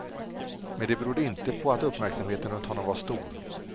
Men det berodde inte på att uppmärksamheten runt honom var stor.